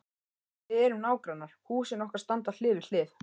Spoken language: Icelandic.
Við erum nágrannar, húsin okkar standa hlið við hlið.